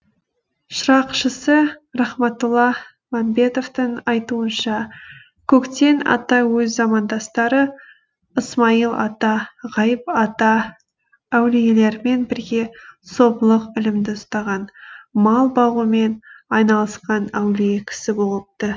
шырақшысы рахматулла мәмбетовтың айтуынша көктен ата өз замандастары ысмайыл ата ғайып ата әулиелермен бірге сопылық ілімді ұстаған мал бағумен айналысқан әулие кісі болыпты